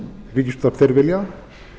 ríkisútvarp þeir vilja